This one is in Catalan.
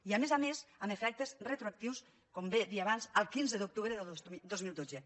i a més a més amb efectes retroactius com bé deia abans del quinze d’octubre de dos mil dotze